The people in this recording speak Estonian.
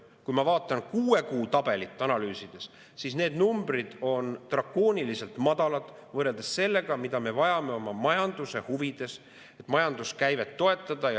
Kui ma vaatan analüüsides kuue kuu tabelit, siis need numbrid on drakooniliselt madalad võrreldes sellega, mida me vajame oma majanduse huvides, et majanduse käivet toetada.